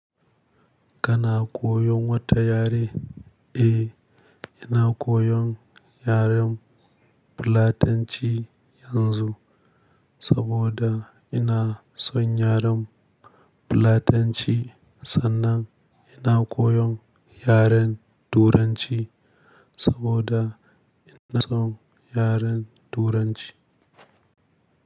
Kana koyon wata yare? Eh, ina koyon yaren Fulatanci yanzu saboda ina son yaren Fulatanci sannan ina koyon yaren Turanci saboda ina son yaren Turanci.